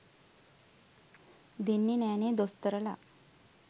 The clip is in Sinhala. දෙන්නෙ නෑනෙ දොස්තරලා